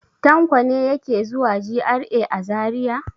Tanko ne yake zuwa GRA a Zariya.